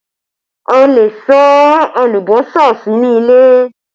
A lè sá alùbọ́sà sínú ilé